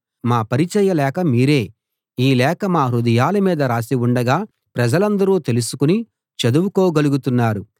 మా పరిచయ లేఖ మీరే ఈ లేఖ మా హృదయాల మీద రాసి ఉండగా ప్రజలందరూ తెలుసుకుని చదువుకోగలుగుతున్నారు